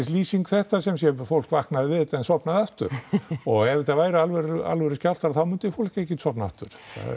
lýsing þetta semsé fólk vaknaði við þetta en sofnaði aftur ef þetta væri alvöru alvöru skjálftar þá myndi fólk ekkert sofna aftur